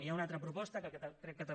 hi ha una altra proposta que crec que també